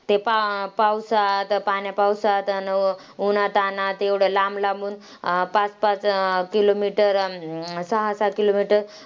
ते पा पावसात पाण्यापावसात, अन उन्हातानात एवढ्या लांब-लांबून पाच-पाच kilometer, अन सहा-सहा kilometers